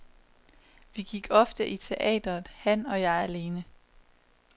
Vi gik ofte i teatret, han og jeg alene.